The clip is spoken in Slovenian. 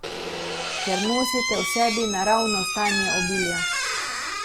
Ker nosite v sebi naravno stanje obilja.